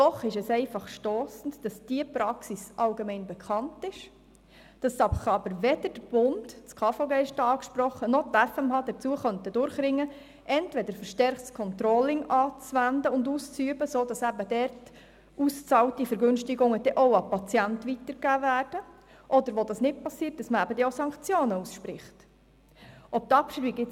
Doch es ist einfach stossend, dass diese Praxis allgemein bekannt ist, sich aber weder der Bund – das KVG ist da angesprochen – noch die FMH dazu durchringen könnten, entweder ein verstärktes Controlling anzuwenden und auszuüben, sodass eben dort ausbezahlte Vergünstigungen dann auch an den Patienten weitergegeben werden oder man dann auch Sanktionen ausspricht, wo dies nicht geschieht.